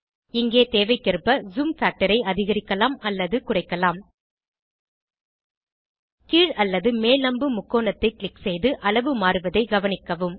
இங்கே தேவைக்கேற்ப zoom factor ஐ அதிகரிக்கலாம் அல்லது குறைக்கலாம் கீழ் அல்லது மேல் அம்பு முக்கோணத்தை க்ளிக் செய்து அளவு மாறுவதை கவனிக்கவும்